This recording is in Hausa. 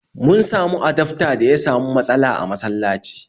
Mun samu adafta da ya samu matsala a masalaci